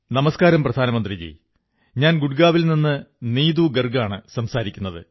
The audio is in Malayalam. നമസ്കാരം പ്രധാനമന്ത്രിജീ ഞാൻ ഗുഡ്ഗാവിൽ നിന്നും നീതു ഗർഗ്ഗാണു സംസാരിക്കുത്